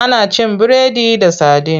Ana cin biredi da sadin.